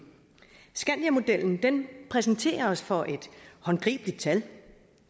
skandiamodellen præsenterer os for et håndgribeligt tal